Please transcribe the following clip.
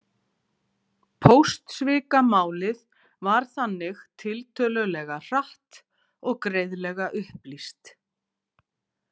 Póstsvikamálið var þannig tiltölulega hratt og greiðlega upplýst.